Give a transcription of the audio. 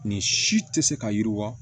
Nin si tɛ se ka yiriwa